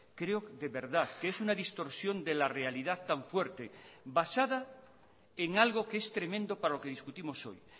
creo de verdad que es una distorsión de la realidad tan fuerte basada en algo que es tremendo para lo que discutimos hoy